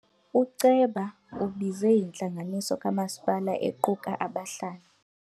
Uceba ubize intlanganiso kamasipala equka abahlali.